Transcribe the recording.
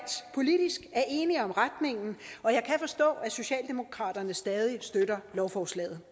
politisk er enige om retningen og jeg kan forstå at socialdemokraterne stadig støtter lovforslaget